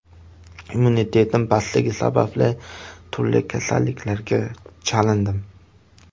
Immunitetim pastligi sababli turli kasalliklarga chalindim.